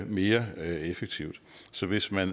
mere effektivt så hvis man